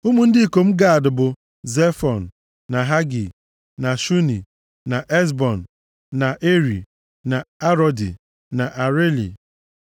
Ụmụ ndị ikom Gad bụ, Zefọn, na Hagi, na Shuni, na Ezbon, na Eri, na Arodi na Areli.